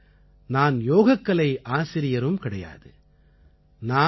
அதேபோல நான் யோகக்கலை ஆசிரியரும் கிடையாது